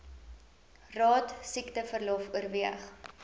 raad siekteverlof oorweeg